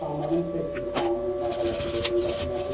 İmtahanların test imtahanı mərhələsidir növbəti mərhələ.